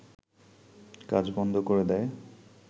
কাজ বন্ধ করে দেয়